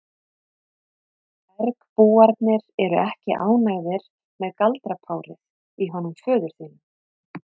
Bergbúarnir eru ekki ánægðir með galdrapárið í honum föður þínum.